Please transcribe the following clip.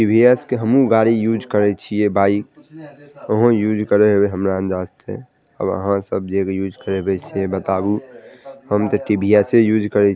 TVS के हमु गाड़ी यूज़ करे छीये बाइक तोहू यूज़ करे होवा हमरा अंदाज से और आहां सब जे भी यूज़ करे छी बताबू हम ते टी.वी.एस से यूज़ करे-- --